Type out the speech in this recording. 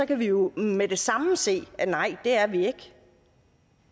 kan vi jo med det samme se at nej det er vi ikke